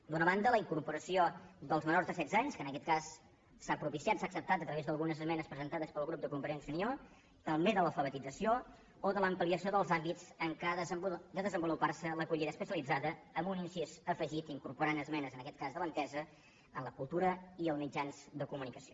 d’una banda la incorporació dels menors de setze anys que en aquest cas s’ha propiciat s’ha acceptat a través d’algunes esmenes presentades pel grup de convergència també de l’alfabetització o de l’ampliació dels àmbits en què ha de desenvolupar se l’acollida especialitzada amb un incís afegit incorporant hi esmenes en aquest cas de l’entesa en la cultura i els mitjans de comunicació